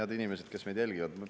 Head inimesed, kes meid jälgivad!